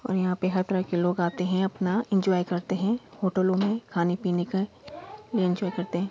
यहां पर हर तरह के लोग आते हैं| अपना एन्जॉय करते है होटलो मे खाने पिने का एन्जॉय करते है।